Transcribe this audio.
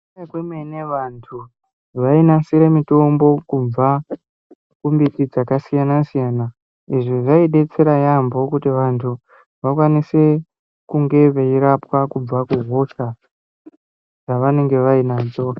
Vantu vainasire mutombo kubva kumbiti dzakasiyana siyana , izvi zvaidetsera yamho kuti vantu vakwanise kunge veirapwa kubva kuhosha dzavanenge vainadzo